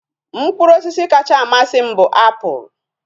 Mkpụrụ osisi kacha amasị m bụ apụl